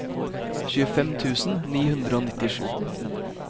tjuefem tusen ni hundre og nittisju